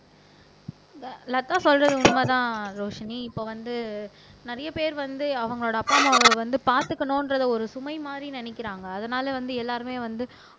லதா சொல்றது உண்மைதான் ரோஷினி இப்ப வந்து நிறைய பேர் வந்து அவங்களோட அப்பா அம்மாவ வந்து பாத்துக்கணும்றதை ஒரு சுமை மாதிரி நினைக்கிறாங்க அதனால வந்து எல்லாருமே வந்து